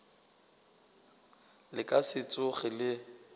le ka se tsoge le